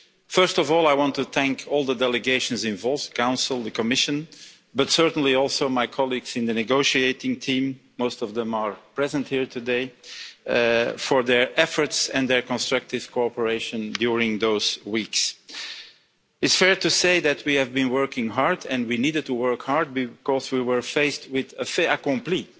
First of all, I want to thank all the delegations involved, the Council and the Commission, but certainly also my colleagues in the negotiating team most of them are present here today for their efforts and their constructive cooperation during those weeks. It's fair to say that we have been working hard and we needed to work hard because we were faced with a fait accompli.